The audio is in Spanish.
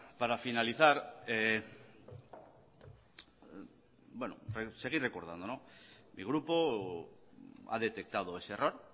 para finalizar seguir recordando mi grupo ha detectado ese error